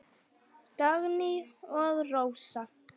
Dagný og Rósa.